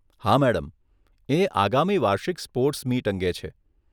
હા, મેડમ, એ આગામી વાર્ષિક સ્પોર્ટ્સ મીટ અંગે છે.